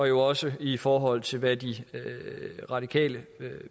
jo også i forhold til hvad det radikale